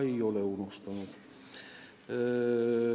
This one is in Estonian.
Ei ole unustanud.